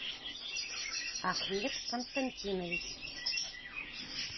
ахмет константинович